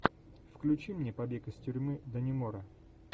включи мне побег из тюрьмы даннемора